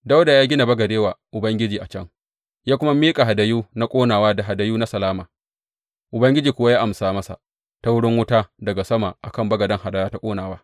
Dawuda ya gina bagade wa Ubangiji a can ya kuma miƙa hadayu na ƙonawa da hadayu na salama, Ubangiji kuwa ya amsa masa ta wurin wuta daga sama a kan bagaden hadaya ta ƙonawa.